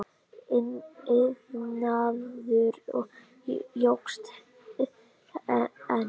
Iðnaður jókst enn.